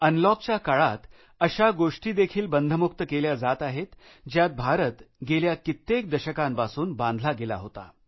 अनलॉकच्या काळात अशा गोष्टी देखील बंधमुक्त केल्या जात आहेत ज्यात भारत गेल्या कित्येक दशकांपासून बांधला गेला होता